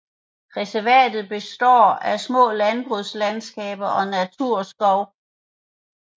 Reservatet består af små landbrugslandskaber og naturskov